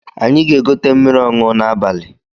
Anyị ga-egote mmiri ọṅụ n’abali